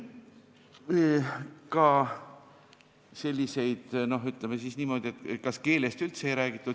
Kas keelest üldse ei räägitud?